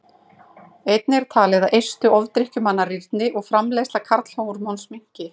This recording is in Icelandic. Einnig er talið að eistu ofdrykkjumanna rýrni og framleiðsla karlhormóns minnki.